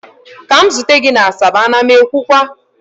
ka m zute gi na asaba, a na m ekwukwa!